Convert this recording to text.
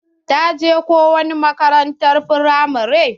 Ta je ko wani makarantar firamare?